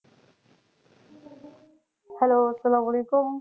Hello আসসালাম আলাইকুম।